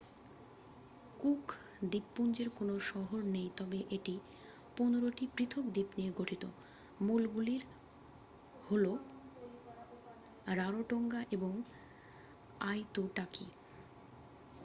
cook দ্বীপপুঞ্জের কোনও শহর নেই তবে এটি 15 টি পৃথক দ্বীপ নিয়ে গঠিত মূলগুলি হল রারোটোঙ্গা এবং আইতুটাকি